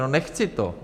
No, nechci to.